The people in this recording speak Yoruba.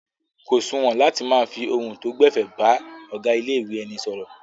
Kò suwọ̀n láti máa fi ohun tó gbẹ̀fẹ̀ bá ọ̀gá ilé-ìwé ẹni sọ̀rọ̀.